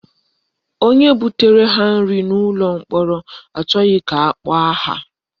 Onye butere ha nri n'ụlọ mkpọrọ achọghị ka akpọọ aha